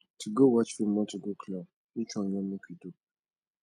to go watch film or to go club which one you wan make we do